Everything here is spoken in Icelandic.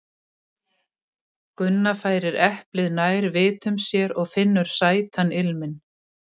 Gunna færir eplið nær vitum sér og finnur sætan ilminn.